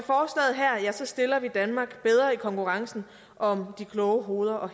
stiller vi danmark bedre i konkurrencen om de kloge hoveder og